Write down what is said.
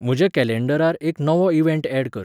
म्हज्या कॅलेंडरार एक नवो इवँट ऍड कर